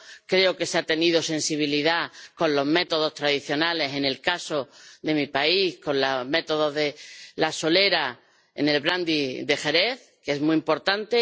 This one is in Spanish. Creo que se ha tenido sensibilidad con los métodos tradicionales en el caso de mi país, con el método de la solera en el brandy de Jerez, que es muy importante.